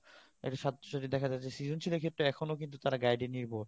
দেখা যা যে সৃজনশিলের ক্ষেত্রে এখনো কিন্তু তারা guide